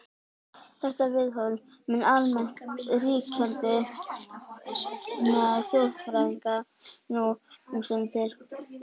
Þetta viðhorf mun almennt ríkjandi meðal þjóðfræðinga nú um stundir.